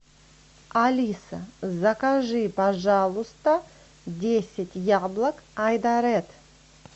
алиса закажи пожалуйста десять яблок айдаред